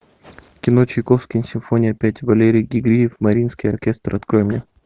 кино чайковский симфония пять валерий георгиев мариинский оркестр открой мне